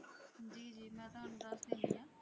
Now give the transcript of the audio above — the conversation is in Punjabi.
ਜੀ ਜੀ ਮੈਂ ਤੁਹਾਨੂੰ ਦੱਸ ਦਿੰਦੀ ਹਾਂ।